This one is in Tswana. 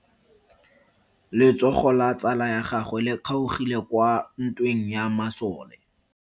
Letsogo la tsala ya gagwe le kgaogile kwa ntweng ya masole.